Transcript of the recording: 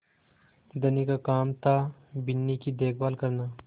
धनी का काम थाबिन्नी की देखभाल करना